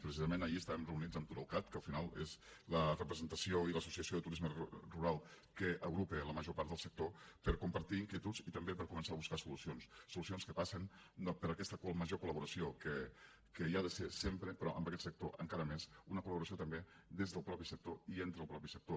precisament ahir estàvem reunits amb turalcat que al final és la representació i l’associació de turisme rural que agrupa la major part del sector per compartir inquietuds i també per començar a buscar solucions solucions que passen per aquesta major col·laboració que hi ha de ser sempre però amb aquest sector encara més una col·laboració també des del mateix sector i entre el mateix sector